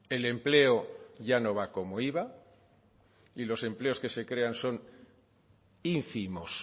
el empleo ya no va como iba y los empleos que se crean son ínfimos